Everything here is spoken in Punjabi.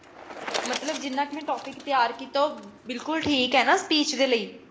ਮਤਲਬ ਜਿੰਨਾ ਕ ਮੈਂ topic ਤਿਆਰ ਕੀਤਾ ਉਹ ਬਿਲਕੁਲ ਠੀਕ ਹੈ ਨਾ speech ਦੇ ਲਈ